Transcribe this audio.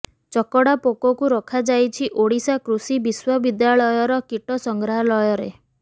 ଚକଡା ପୋକକୁ ରଖାଯାଇଛି ଓଡ଼ିଶା କୃଷି ବିଶ୍ୱବିଦ୍ୟାଳୟର କୀଟ ସଂଗ୍ରହାଳୟରେ